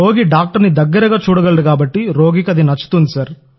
రోగి డాక్టర్ని దగ్గరగా చూడగలడు కాబట్టి రోగికి అది నచ్చుతుంది